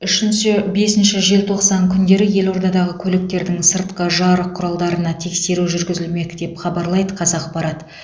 үшінші бесінші желтоқсан күндері елордадағы көліктердің сыртқы жарық құралдарына тексеру жүргізілмек деп хабарлайды қазақпарат